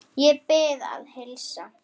Ég bið að heilsa